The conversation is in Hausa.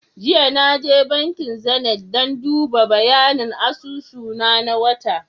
Jiya Naje bankin Zenith dan duba bayanin asusu na, na wata